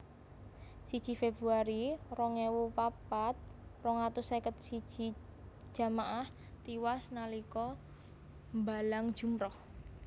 Siji Februari rong ewu papat rong atus seket siji jamaah tiwas nalika mbalang jumrah